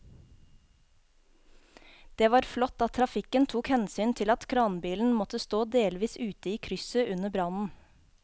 Det var flott at trafikken tok hensyn til at kranbilen måtte stå delvis ute i krysset under brannen.